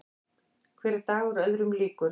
Hver dagur öðrum líkur.